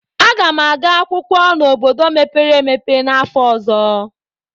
Aga m aga akwụkwọ n'obodo mepere emepe n'afọ ọzọ.